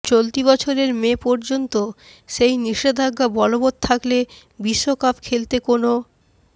চলতি বছরের মে পর্যন্ত সেই নিষেধাজ্ঞা বলবৎ থাকলে বিশ্বকাপ খেলতে কোনো